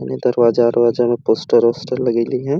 पूरे दरवाजा-अरवाजा में पोस्टर उस्टर लगइले हे।